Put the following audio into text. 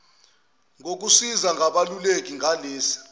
ngokusizwa ngabeluleki ngalesi